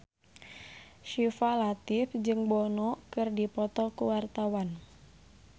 Syifa Latief jeung Bono keur dipoto ku wartawan